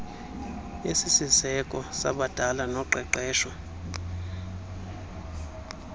esisiseko yabadala noqeqesho